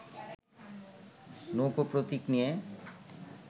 নৌকা প্রতীক নিয়ে